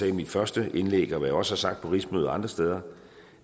i mit første indlæg og hvad jeg også har sagt på rigsmøder og andre steder